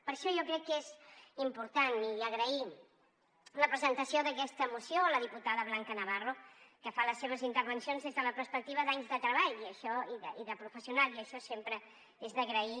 per això jo crec que és important i agrair la presentació d’aquesta moció a la diputada blanca navarro que fa les seves intervencions des de la perspectiva d’anys de treball i de professional i això sempre és d’agrair